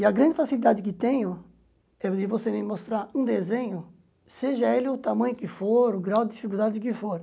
E a grande facilidade que tenho é vir você me mostrar um desenho, seja ele o tamanho que for, o grau de dificuldade que for.